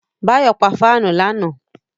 Báyọ̀ pa fáànù lánàá